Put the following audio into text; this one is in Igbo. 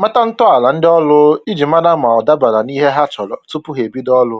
mata ntọala ndị ụlọ ọrụ iji mara ma ọ dabara n'ihe ha chọrọ tupu ha ebido ọrụ